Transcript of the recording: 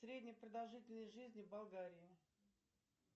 средняя продолжительность жизни в болгарии